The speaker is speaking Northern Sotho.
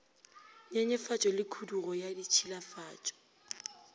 nyenyefatšo le khudugo ya ditšhilafatšo